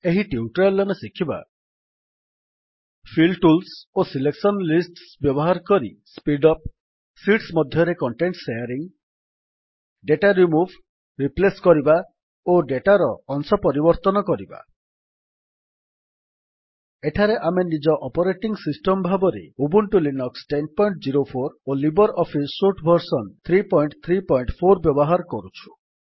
ଏହି ଟ୍ୟୁଟୋରିଆଲ୍ ରେ ଆମେ ଶିଖିବା ଫିଲ୍ ଟୁଲ୍ସ ଓ ସିଲେକସନ ଲିଷ୍ଟସ୍ ବ୍ୟବହାର କରି ସ୍ପୀଡ୍ ଅପ୍ ଶୀଟ୍ସ ମଧ୍ୟରେ content sharing data remove replace କରିବା ଓ ଡେଟାର ଅଂଶ ପରିବର୍ତ୍ତନ କରିବା ଏଠାରେ ଆମେ ନିଜ ଅପରେଟିଙ୍ଗ୍ ସିଷ୍ଟମ୍ ଭାବରେ ଉବୁଣ୍ଟୁ ଲିନକ୍ସ ୧୦୦୪ ଓ ଲିବର୍ ଅଫିସ୍ ସୁଟ୍ ଭର୍ସନ୍ ୩୩୪ ବ୍ୟବହାର କରୁଛୁ